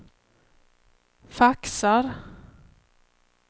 faxar